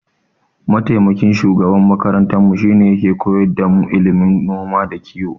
Mataimakin shugaban makarantarmu shine yake koyar damu ilimin noma da kiyo.